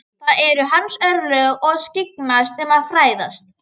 Það eru hans örlög að skyggnast um og fræðast.